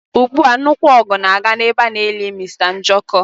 Ugbu a, nnukwu ọgụ na-aga na-ebe ana eli Mr Njoku.